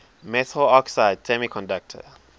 metal oxide semiconductor